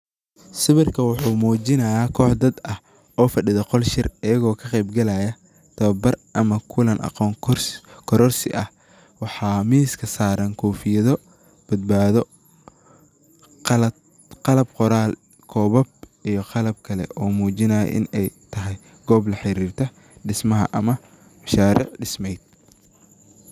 Sawirka waxuu muujinaya kox dad ah oo fadhido qol shir ayago oo ka qayb galaya tababar ama kulan aqoon kororsi ah waxaa miska saaran kofiyada badbado qalab qoraal kobab iyo qalab kale oo muujinaya in ay tahay goob laxarirta dismaha ama mashaaric disme.